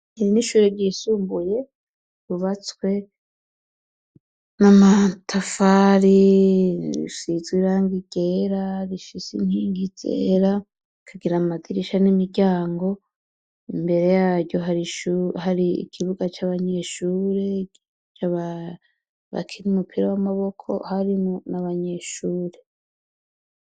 Iri nishure ryisumbuye bubatswe n'amatafari rishizwa iranga igera rishise inkingi zera kagira amadirisha n'imiryango imbere yayo hari ikibuga c'abanyeshure cababakinmue ba amaboko harimo ni abanyeshure.